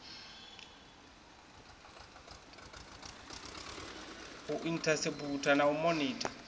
u inthaseputha na u monitha